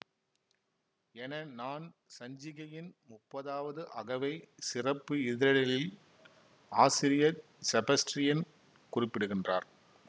என நான் சஞ்சிகையின் முப்பதாவது அகவை சிறப்பு இதழிலில் ஆசிரியர் செபஸ்ட்ரியன் குறிப்பிடுகின்றார்